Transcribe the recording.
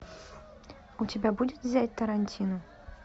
у тебя будет взять тарантину